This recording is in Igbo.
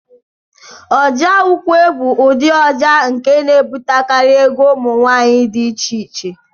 Ọjà ukwe bụ ụdị ọjà nke na-ebutekarị egwu ụmụ nwaanyị dị iche-iche.